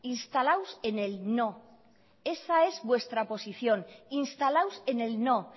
instalados en el no esa es vuestra posición instalados en el no